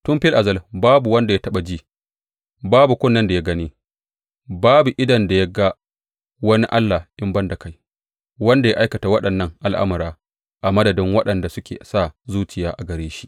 Tun fil azal babu wanda ya taɓa ji, babu kunnen da ya gane, babu idon da ya ga wani Allah in ban da kai, wanda ya aikata waɗannan al’amura a madadin waɗanda suke sa zuciya a gare shi.